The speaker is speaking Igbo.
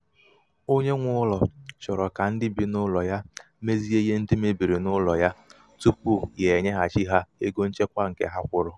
onye nwe ụlọ chọrọ ka ndị bị n'ụlọ ya mezie ihe ndị mebiri n'ụlọ tupu ya enyeghachi ha ego nchekwa nkè ha kwụrụ.